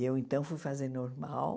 E eu, então, fui fazer normal.